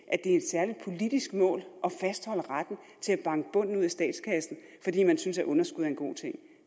er et særligt politisk mål at fastholde retten til at banke bunden ud af statskassen fordi man synes at underskud er en god ting